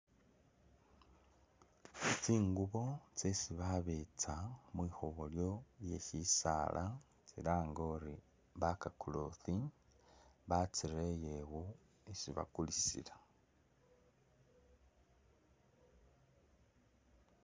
Tsingubo tsesi babetsa mulikhobolyo lye’shisaala tsilange uri back cloth batsirele iwo isi bakulisila .